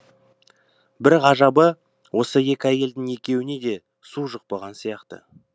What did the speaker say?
бір ғажабы осы екі әйелдің екеуіне де су жұқпаған сияқты